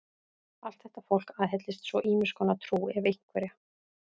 Allt þetta fólk aðhyllist svo ýmiss konar trú, ef einhverja.